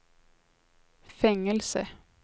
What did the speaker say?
fängelse